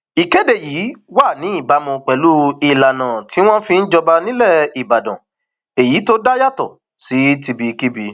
ìkéde yìí wà ní ìbámu pẹlú ìlànà tí wọn fi ń jọba nílẹ ìbàdàn èyí tó dá yàtọ sí tibikíbi